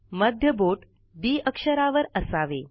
मध्य बोट डी अक्षरावर असावे